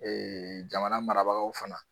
Ee jamana marabagaw fana